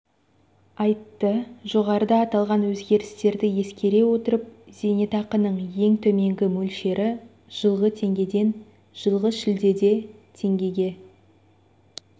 айтты жоғарыда аталған өзгерістерді ескере отырып зейнетақының ең төменгі мөлшері жылғы теңгеден жылғы шілдеде теңгеге